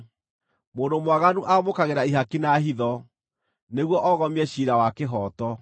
Mũndũ mwaganu amũkagĩra ihaki na hitho, nĩguo ogomie ciira wa kĩhooto.